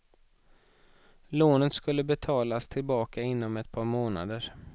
Lånet skulle betalas tillbaks inom ett par månader.